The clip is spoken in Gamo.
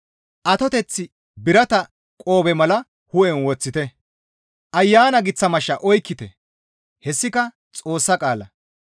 Atoteth birata qoobe mala hu7en woththite; Ayana giththa mashsha oykkite; hessika Xoossa qaala.